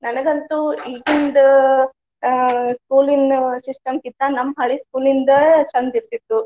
ನನಗಂತೂ ಈಗಿಂದ ಅ school ಇನ್ system ಕ್ಕಿಂತಾ ನಮ್ಮ ಹಳೆ school ಯಿಂದ ಚಂದ ಇರ್ತಿತ್ತು.